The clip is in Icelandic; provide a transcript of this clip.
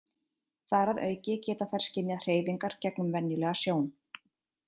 Þar að auki geta þær skynjað hreyfingar gegnum venjulega sjón.